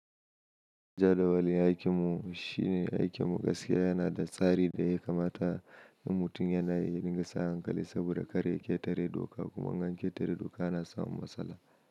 Jadawalin aikimu shi ne aikin gaskiya yana da tsari da ya kamata na mutum yana yin gasa hankali saboda kare ƙetare doka kuma in ganketare doka na samun matsala.